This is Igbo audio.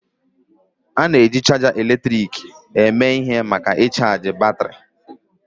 A na-eji chaja eletrik eme ihe maka ịchaji batrị.